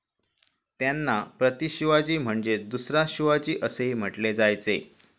त्यांना 'प्रतिशिवाजी' म्हणजेच 'दुसरा शिवाजी असेही म्हटले जायचे.